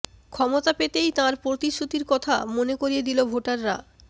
ক্ষমতা পেতেই তাঁর প্রতিশ্রুতির কথা মনে করিয়ে দিল ভোটাররা